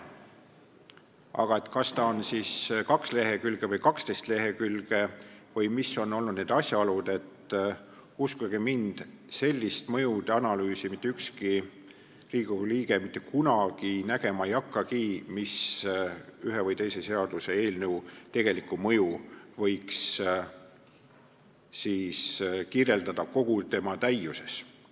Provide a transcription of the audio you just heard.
Aga kas see analüüs on pikk kaks lehekülge või 12 lehekülge – uskuge mind, sellist mõjude analüüsi mitte ükski Riigikogu liige mitte kunagi nägema ei hakkagi, mis ühe või teise seaduseelnõu tegelikku mõju suudaks kirjeldada kogu selle ulatuses.